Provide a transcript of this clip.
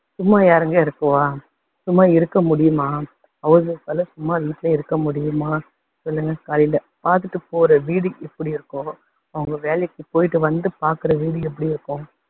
சும்மா யாருங்க இருக்குவா, சும்மா இருக்க முடியுமா house wife ஆல சும்மா வீட்டிலேயே இருக்க முடியுமா சொல்லுங்க காலையில பாத்துட்டு போற வீடு எப்படி இருக்கும், அவங்க வேலைக்கு போய்ட்டு வந்து பாக்குற வீடு எப்படி இருக்கும்.